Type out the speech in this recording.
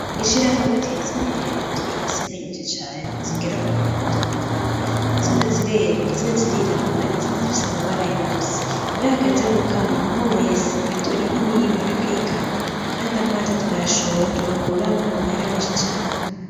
Ishirahamwe Tezimbere turafise inka nyinshi cane zigera ku bihumbi amajana atanu, zimwe zirera, izindi zirirabura, izindi zifise amabara yose, iyo hageza gukama umwe wese atora inka imwe imwe akayikama, kandi amata turayashora tugakuramwo amahera menshi cane.